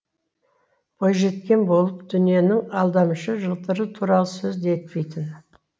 бойжеткен болып дүниенің алдамшы жылтыры туралы сөз де етпейтін